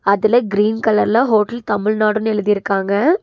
அதுல கிரீன் கலர்ல ஹோட்டல் தமிழ்நாடுனு எழுதிருக்காங்க.